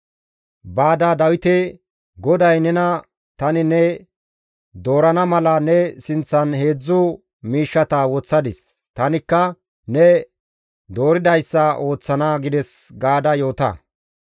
«Baada Dawite, ‹GODAY nena tani ne doorana mala ne sinththan heedzdzu miishshata woththadis; tanikka ne dooridayssa ooththana› gides» gaada yoota.